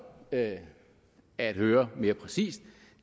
at at høre mere præcist